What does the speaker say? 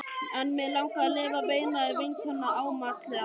En mig langar að lifa, veinaði vinkonan ámátlega.